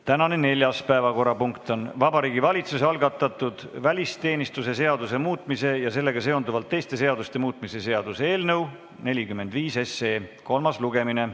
Tänane neljas päevakorrapunkt on Vabariigi Valitsuse algatatud välisteenistuse seaduse muutmise ja sellega seonduvalt teiste seaduste muutmise seaduse eelnõu 45 kolmas lugemine.